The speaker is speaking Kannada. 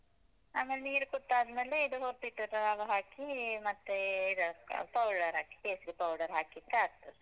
ಆಮೇಲ್ ನೀರ್ ಕುದ್ ಆದ್ಮೇಲೆ ಇದು ಹುರ್ದಿಟದನೆಲ್ಲ ಹಾಕಿ ಮತ್ತೇ powder ಹಾಕಿ ಕೇಸ್ರಿ powder ಹಾಕಿದ್ರೆ ಆಗ್ತದೆ.